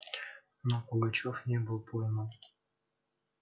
но пугачёв не был пойман